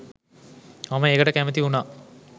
මම ඒකට කැමැති වුණා